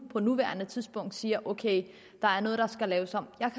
på nuværende tidspunkt siger man at ok der er noget der skal laves om jeg